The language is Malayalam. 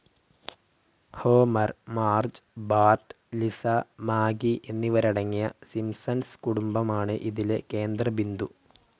Homer, Marge, Bart, Lisa, Maggie എന്നിവരടങ്ങിയ സിംസൺസ് കുടുംബമാണ് ഇതിലെ കേന്ദ്രബിന്ദു.